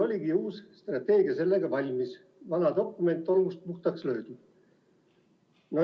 oligi uus strateegia valmis, vana tolmust puhtaks löödud.